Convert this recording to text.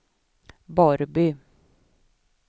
Borrby